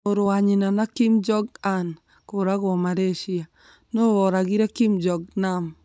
Mũrũ wa nyina Kim Jong-un kũragwo Malaysia nũũ woragire Kim Jong Nam